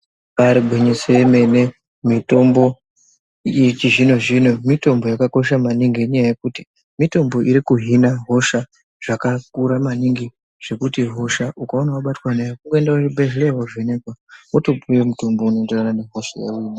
Igwinyiso yemene mitombo yechizvino zvino mitombo yakosha maningi nekuti mitombo iri kuhina hosha zvakakura maningi nekuti hosha ukaona wabatwa nayo woenda kuchipatara wovhenekwa womupihwa unoenderana nehosha yaunayo.